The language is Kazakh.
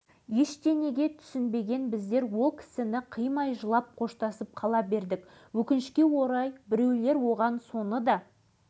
бокстан спорт шеберіне кандидат деген атағы тағы бар алашыбай жұмыс табылғанша амалдай тұру үшін жаттықтырушылықпен айналысқан